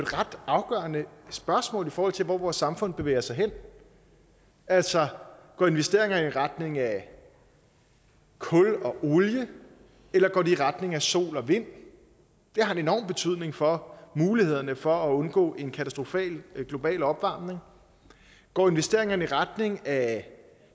ret afgørende spørgsmål i forhold til hvor vores samfund bevæger sig hen altså går investeringerne i retning af kul og olie eller går de i retning af sol og vind det har en enorm betydning for mulighederne for at undgå en katastrofal global opvarmning går investeringerne i retning af